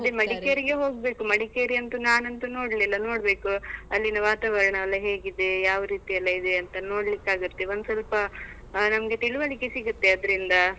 ಮಡಿಕೇರಿಗೆ ಹೋಗ್ಬೇಕು, ಮಡಿಕೇರಿ ಅಂತೂ ನಾನ್ ಅಂತೂ ನೋಡ್ಲಿಲ್ಲಾ ನೋಡ್ಬೇಕು ಅಲ್ಲಿನ ವಾತಾವರ್ಣ ಎಲ್ಲಾ ಹೇಗಿದೆ, ಯಾವ ರೀತಿಯೆಲ್ಲಾ ಇದೆ ಅಂತ ನೋಡ್ಲಿಕಾಗತ್ತೆ. ಒಂದು ಸ್ವಲ್ಪ ಆ ನಮ್ಗೆ ತಿಳುವಳಿಕೆ ಸಿಗುತ್ತೆ ಅದ್ರಿಂದ.